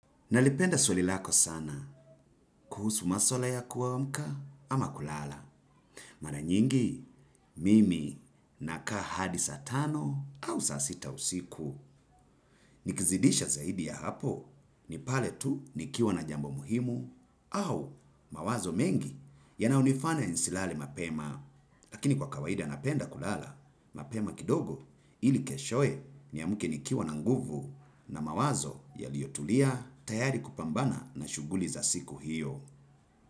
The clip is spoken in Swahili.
Nalipenda swali lako sana kuhusu maswala ya kuamka ama kulala. Mara nyingi mimi nakaa hadi saa tano au saa sita usiku. Nikizidisha zaidi ya hapo, ni pale tu nikiwa na jambo muhimu au mawazo mengi. Yanayo nifanya nisilale mapema, lakini kwa kawaida napenda kulala. Mapema kidogo ili keshoe niamke nikiwa na nguvu na mawazo yaliotulia tayari kupambana na shughuli za siku hiyo.